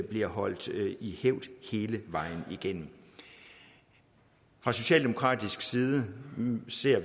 bliver holdt i hævd hele vejen igennem fra socialdemokratisk side ser